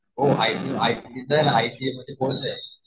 हो I think